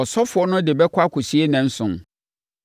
Ɔsɔfoɔ no de bɛkɔ akɔsie nnanson